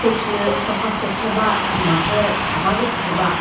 stage lü sofa set shi ba thüma shi thava zü süsü ba.